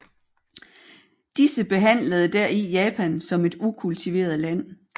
Disse behandlede deri Japan som et ukultiveret land